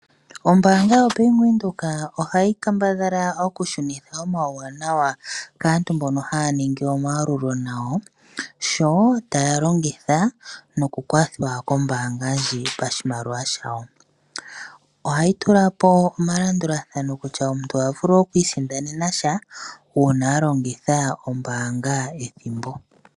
Ombaanga yaBank Windhoek ohayi kambadhala okushunitha omauwanawa kaantu mbono haya ningi omayalulo nayo, oshowoo taya longitha nokukwathwa ndji pashimaliwa shayo. Ohayi tulapo omalandulathano kutya omuntu oha vulu okwiisindanena sha uuna alongitha ombaanga ethimbo.